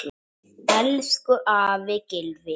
Elsku afi Gylfi.